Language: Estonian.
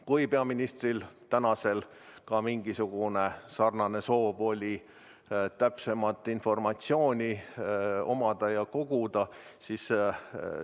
Kas praegusel peaministril ka mingisugune sarnane soov oli, kas ta soovis samuti täpsemat informatsiooni koguda, seda me ei tea.